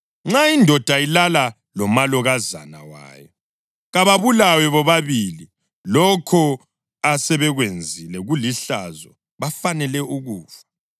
Nxa indoda ilala lomalokazana wayo, kababulawe bobabili. Lokho asebekwenzile kulihlazo. Bafanele ukufa.